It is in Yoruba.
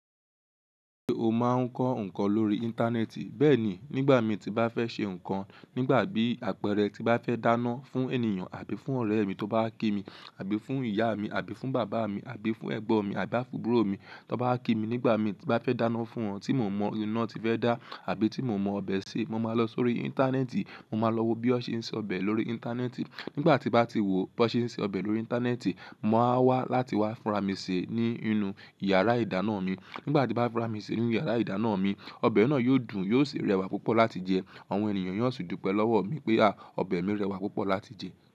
Ṣé o máa ń kọ́ nǹkan lórí Íńtánẹ́ẹ̀tì? Bẹ́ẹ̀ ni, nígbà tí bá fẹ́ ṣe nǹkan, nígbà bí apẹ̀rẹ̀ tí bá fẹ́ dáná fún ènìyàn àbí fún ọ̀rẹ́ mi tó bá kí mi, àbí fún ìyá mi, àbí fún bàbá mi, àbí fún ẹ̀gbọ́n mi, àbí fún abúrọ̀ mi tó bá kí mi, nígbà tí bá fẹ́ dáná fún wọn tí mo mọ iná ti fẹ́ dá àbí tí mo mọ ọbẹ̀ ṣe, mo máa lọ sórí Íńtánẹ́ẹ̀tì. Mo máa lọ wo bí wọ́n ṣe ń se ọbẹ̀ lórí Íńtánẹ́ẹ̀tì. Nígbà tí bá ti wò ó, bí wọ́n ṣe ń se ọbẹ̀ lórí Íńtánẹ́ẹ̀tì, mo á wá láti wá fúnra mi sè ní inú yàrá ìdáná mi. Nígbà tí bá fúnra mi sè ní inú yàrá ìdáná mi, ọbẹ̀ náà yóò dùn, yóò sì rẹwà púpọ̀ láti jẹ. Àwọn ènìyàn sì yóò dúpẹ́ lọ́wọ́ mi pé a, ọbẹ̀ mi rẹwà púpọ̀ láti jẹ.